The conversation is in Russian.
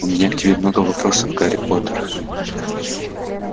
у меня к тебе много вопросов гарри поттер